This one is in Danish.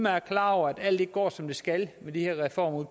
er klar over at alt ikke går som det skal med de her reformer